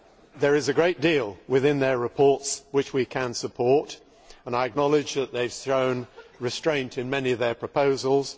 there is a great deal in their reports which we can support, and I acknowledge that they have shown restraint in many of their proposals.